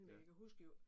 Ja